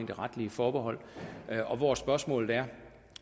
det retlige forbehold og hvor spørgsmålet er